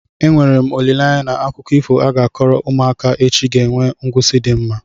Enwere m olileanya na akụkọ ifo a ga-akọrọ ụmụaka echi ga-enwe ngwụsi di mma?